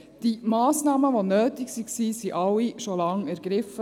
Die Massnahmen, welche nötig waren, wurden alle bereits vor Langem ergriffen.